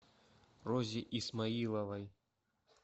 розе исмаиловой